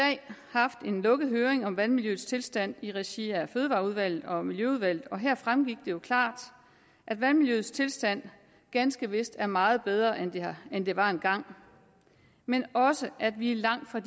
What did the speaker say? haft en lukket høring om vandmiljøets tilstand i regi af fødevareudvalget og miljøudvalget og her fremgik det jo klart at vandmiljøets tilstand ganske vist er meget bedre end det end det var engang men også at vi er langt fra